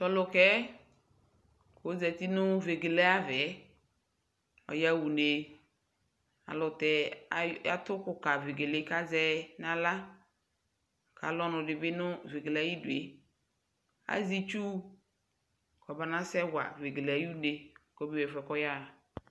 tʋ alʋkaɛ ɔzati nʋ vɛgɛlɛ aɣa, ɔya ʋnɛ, alʋtɛ atʋ ʋkʋ ka vɛgɛlɛ kʋ azɛ nʋ ala kʋ alʋ ɔnʋ dibi nʋ vɛgɛlɛ ayidʋɛ, azɛ itsʋ kɔ ɔma nasɛ wa vɛgɛlɛ ɛƒʋɛ kʋ ɔya